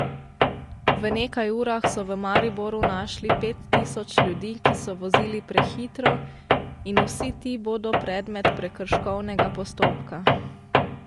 V nekaj urah so v Mariboru našli pet tisoč ljudi, ki so vozili prehitro, in vsi ti bodo predmet prekrškovnega postopka.